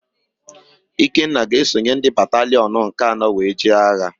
Ikenna ga-esonye ndị batalịọn nke anọ wee jee agha.